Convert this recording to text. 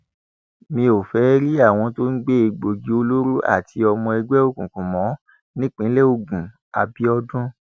mi ò fẹẹ rí àwọn tó ń gbé egbòogi olóró àti ọmọ ẹgbẹ òkùnkùn mọ nípínlẹ ogunàbíbọdún